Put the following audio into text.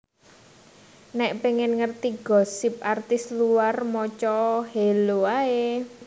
Nek pengen ngerti gosip artis luar moco o Hello ae